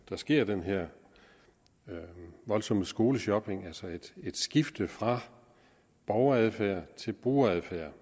der sker den her voldsomme skoleshopping altså et skifte fra borgeradfærd til brugeradfærd